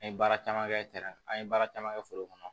An ye baara caman kɛ an ye baara caman kɛ foro kɔnɔ